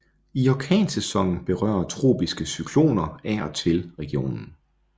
I orkansæsonen berører tropiske cykloner af og til regionen